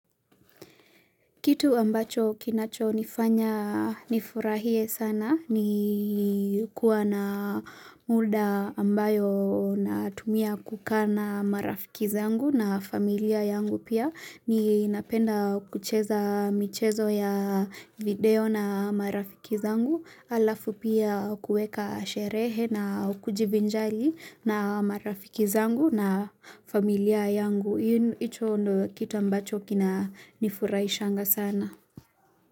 Kitu ambacho kinachonifanya nifurahie sana ni kuwa na muda ambayo natumia kukaa na marafiki zangu na familia yangu pia. Ninapenda kucheza michezo ya video na marafiki zangu halafu pia kuweka sherehe na kujivinjari na marafiki zangu na familia yangu. Hicho ndio kitu ambacho kinanifurahishanga sana.